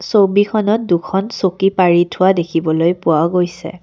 ছবিখনত দুখন চকী পাৰি থোৱা দেখিবলৈ পোৱা গৈছে।